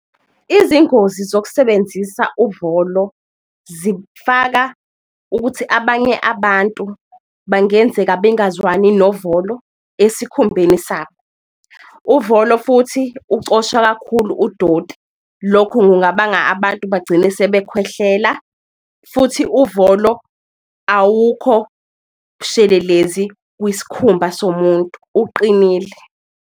Izingozi zokusebenzisa uvolo zifaka ukuthi abanye abantu bangenzeka bengazwani novolo esikhumbeni sabo. Uvolo futhi ucosha kakhulu udoti lokhu kungabanga abantu bagcine sebekhwehlela. Futhi uvolo awukho bushelelezi kwiskhumba somuntu, uqinile.